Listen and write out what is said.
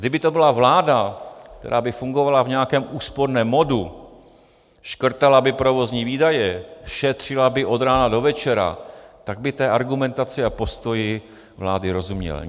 Kdyby to byla vláda, která by fungovala v nějakém úsporném modu, škrtala by provozní výdaje, šetřila by od rána do večera, tak bych té argumentaci a postoji vlády rozuměl.